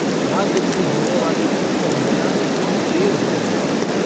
राजगद्दी होने वाली थी पर न जाने क्यों देर हो रही थी।